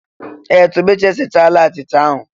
Ee! Tobechi esichala achịcha ahụ.